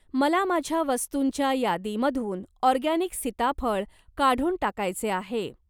मला माझ्या वस्तुंच्या यादीमधून ऑरगॅनिक सीताफळ काढून टाकायचे आहे.